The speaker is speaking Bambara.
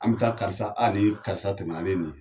An bɛ taa karisa a nin karisa tɛmɛ ale